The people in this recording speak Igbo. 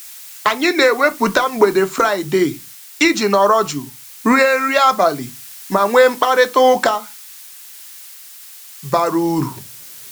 Anyị na-ewepụta mgbede Fraịde iji nọrọ jụụ rie nri abalị ma nwee mkparịtaụka bara uru.